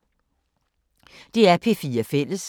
DR P4 Fælles